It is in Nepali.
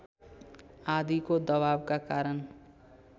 आदिको दबावका कारण